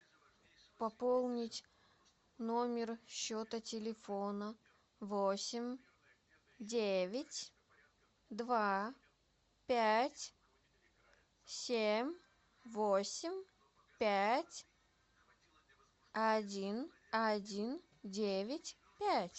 пополнить номер счета телефона восемь девять два пять семь восемь пять один один девять пять